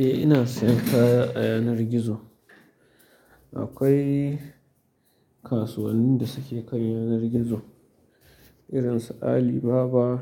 Eh ina sayan kaya a yanar gizo. Akwai kasuwannin da suke kan yanar gizo irin su Alibaba,